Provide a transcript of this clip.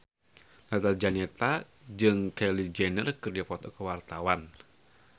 Tata Janeta jeung Kylie Jenner keur dipoto ku wartawan